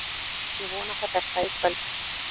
Ég vona það besta í kvöld.